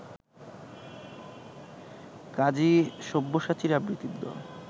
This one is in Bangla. কাজী সব্যসাচীর আবৃত্তির দল